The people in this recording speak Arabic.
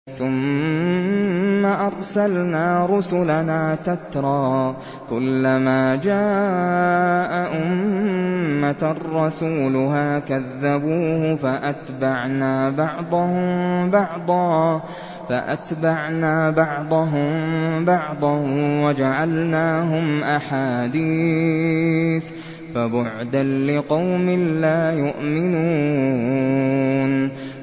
ثُمَّ أَرْسَلْنَا رُسُلَنَا تَتْرَىٰ ۖ كُلَّ مَا جَاءَ أُمَّةً رَّسُولُهَا كَذَّبُوهُ ۚ فَأَتْبَعْنَا بَعْضَهُم بَعْضًا وَجَعَلْنَاهُمْ أَحَادِيثَ ۚ فَبُعْدًا لِّقَوْمٍ لَّا يُؤْمِنُونَ